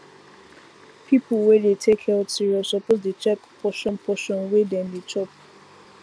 people wey dey take health serious suppose dey check portion portion wey dem dey chop